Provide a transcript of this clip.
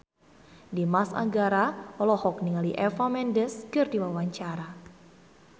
Dimas Anggara olohok ningali Eva Mendes keur diwawancara